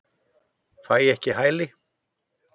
Fær ekki hæli